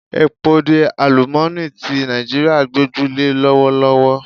Epo ni àlúmooni ti Nàìjíríà gboju le lọ́wọ́lọ́wọ́